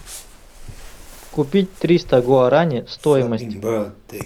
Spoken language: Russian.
купить триста гуарани стоимость